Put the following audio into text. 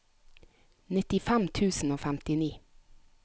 nittifem tusen og femtini